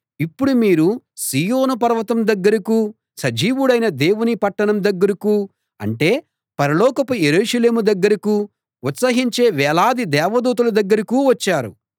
ఇప్పుడు మీరు సీయోను పర్వతం దగ్గరకూ సజీవుడైన దేవుని పట్టణం దగ్గరకూ అంటే పరలోకపు యెరూషలేము దగ్గరకూ ఉత్సహించే వేలాది దేవదూతల దగ్గరకూ వచ్చారు